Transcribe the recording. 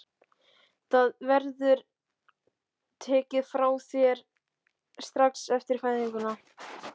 Það verður tekið frá þér strax eftir fæðinguna.